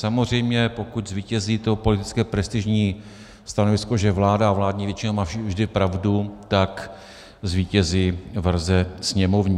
Samozřejmě pokud zvítězí to politické prestižní stanovisko, že vláda a vládní většina má vždy pravdu, tak zvítězí verze sněmovní.